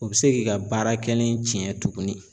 O bɛ se k'i ka baara kɛlen cɛn tuguni.